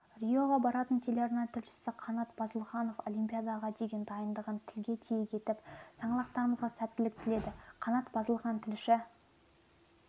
риоға баратын телеарна тілшісіқанат базылханолимпиадаға деген дайындындығын тілге тиек етіп саңлақтарымызға сәттілік тіледі қанат базылхан тілші